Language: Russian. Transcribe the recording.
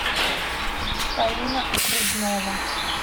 фаина окружнова